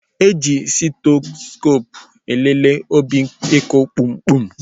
E ji stetoskoopụ elele obinku kpumkpum